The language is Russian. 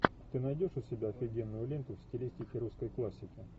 ты найдешь у себя офигенную ленту в стилистике русской классики